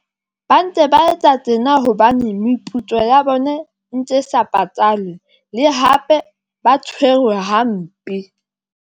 Ba ntse ba etsa tjena hobane meputso ya bone ntse sa patalwe, le hape ba tshwerwe hampe.